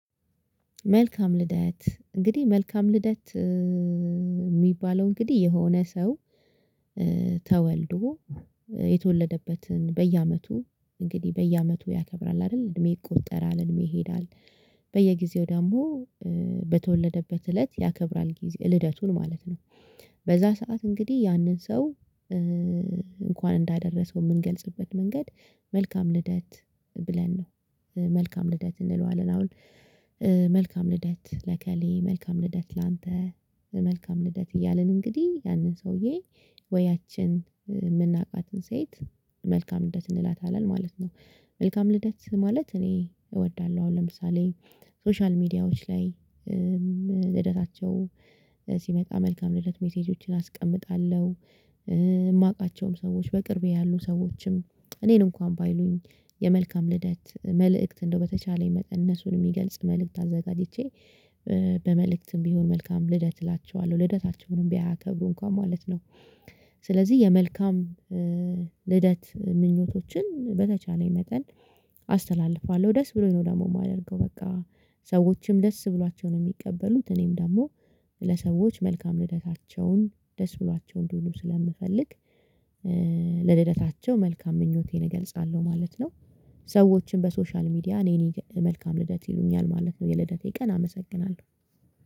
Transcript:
መልካም ልደት እንግዲህ መልካም ልደት የሚባለው እንግዲህ የሆነ ሰው ተወልዶ የተወለደበትን በየአመቱ እንግዲህ በየአመቱ ያከብራል አይደል እድሜ ይቆጠራል እድሜ ይሄዳል። በየጊዜው ደግሞ በተወለደበት እለት ያከብራል ልደቱን ማለት ነው። በዛ ሰዓት እንግዲህ ያንን ሰው እንኳን እንዳደረሰው የምንገልጽበት መንገድ መልካም ልደት ብለን ነው መልካም ልደት እንለዋለን። አሁን መልካም ልደት ለእከሌ መልካም ልደት ላንተ መልካም ልደት እያልን እንግዲህ ያንን ሰውዬ ወይ ያቺን የምናውቃትን ሴት መልካም ልደት እንላታለን ማለት ነው። መልካም ልደት ማለት እኔ እወዳለሁ። አሁን ለምሳሌ ሶሻል ሚዲያዎች ላይ ልደታቸው ሲመጣ መልካም ልደት ሜሴጆችን አስቀምጣለሁ። የማውቃቸውም ሰዎች በቅርቤ ያሉ ሰዎችም እኔን እንኳን ባይሉኝ የመልካም ልደት መልእክት እንደው በተቻለኝ መጠን እነሱን የሚገልጽ መልእክት አዘጋጅቼ በመልእክትም ቢሆን መልካም ልደት እላቸዋለሁ። ልደታቸውንም ባያከብሩ እንኳን ማለት ነው። ስለዚህ የመልካም ልደት ምኞቶችን በተቻለኝ መጠን አስተላልፋለሁ ደስ ብሎኝ ነው ደግሞ የማደርገው። በቃ ሰዎችም ደስ ብሏቸው ነው የሚቀበሉት። እኔም ደግሞ ለሰዎች መልካም ልደታቸውን ደስ ብሏቸው እንዲውሉ ስለምፈልግ ለልደታቸው መልካም ምኞቴን እገልጻለሁ ማለት ነው። ሰዎችን በሶሻል ሚዲያ እኔ መልካም ልደት ይሉኛል ማለት ነው የልደቴ ቀን አመሰግናለሁ።